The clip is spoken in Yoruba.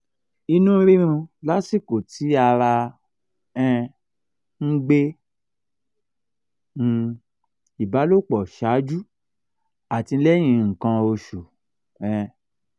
ìnu rirun lasiko ti ara um n gbe um ìbálòpọ̀ ṣáájú àti lẹ́yìn nkan osu um